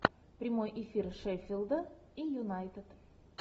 прямой эфир шеффилда и юнайтед